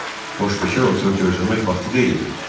Boş-bekar oturub gözləmək vaxtı deyildi.